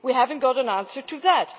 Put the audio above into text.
We have not got an answer to that.